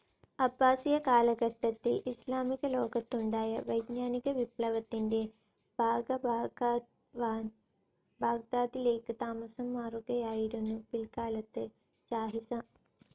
അബ്ബാസിയ കാലഘട്ടത്തിൽ ഇസ്ലാമിക ലോകത്തുണ്ടായ വൈജ്ഞാനിക വിപ്ലവത്തിന്റെ ഭാഗഭാക്കാവാൻ ബാഗ്ദാദിലേക്ക് താമസം മാറുകയായിരുന്നു പിൽക്കാലത്ത് ജാഹിസ്.